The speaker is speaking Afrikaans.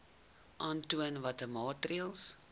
aantoon watter maatreëls